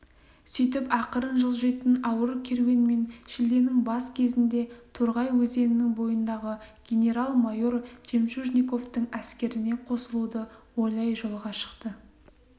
сөйтіп ақырын жылжитын ауыр керуенмен шілденің бас кезінде торғай өзенінің бойындағы генерал-майор жемчужниковтың әскеріне қосылуды ойлай жолға шықты